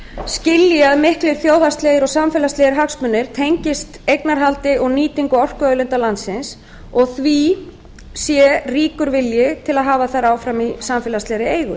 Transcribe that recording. skilji að miklir þjóðhagslegir og samfélagslegir hagsmunir tengist eignarhaldi og nýtingu orkuauðlinda landsins og því sé ríkur vilji til að hafa þær áfram í samfélagslegri eigu